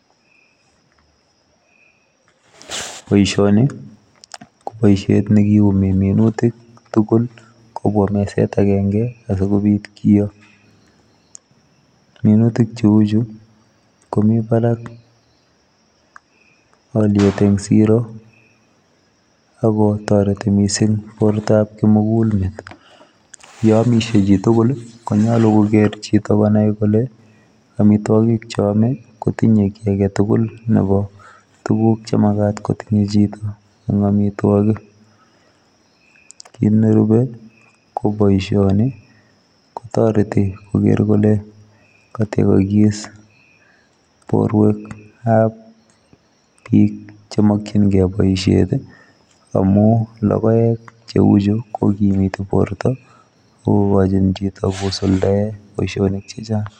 Boisioni ko boisiet nekiumi minutik , tugul kobwaa mezeet agenge asikobiit konyoor ,minutik che uu chuu komii Barak aliet eng siroo ako taretii missing borto ab kimugul met ,ye amishe chii tugul konyaluu koger chitoo konai kole amitwagiik che yame kotinyei kit age tugul nebo tuguuk che makaat kotinyei chitoo amitwagiik kit ne rupee ko boisioni ko taretii koger kole katiagais boruek ab biik che makyingei boisiet ii amuun logoek che uu chuu ko kimitii borto ako gachiin chito kosuldaen boisionik che chaang .